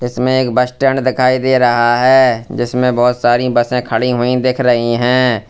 इसमें एक bus stand दिखाई दे रहा है जिसमें बोहोत सारी बसें खड़ी हुई दिख रही हैं।